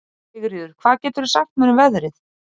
Sigríður, hvað geturðu sagt mér um veðrið?